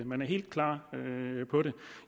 man er helt klar på det